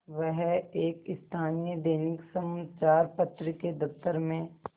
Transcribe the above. वह एक स्थानीय दैनिक समचार पत्र के दफ्तर में